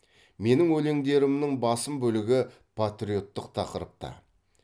менің өлеңдерімнің басым бөлігі патриоттық тақырыпта